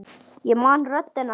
Ég man röddina hennar.